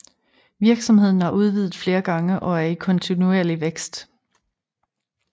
Virksomheden har udvidet flere gange og er i kontinuerlig vækst